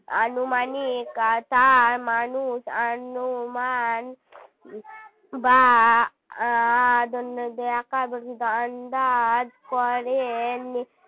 আনুমানিক তাঁর মানুষ অনুমান বা আ দন্তে ন দ এ আকার বর্গে জ আন্দাজ করেন